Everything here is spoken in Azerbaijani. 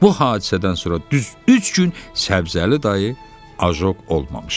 Bu hadisədən sonra düz üç gün Səbzəli dayı ajok olmamışdı.